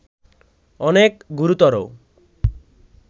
অনেক গুরুতর